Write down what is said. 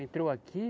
Entrou aqui.